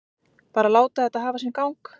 Bara láta þetta hafa sinn gang.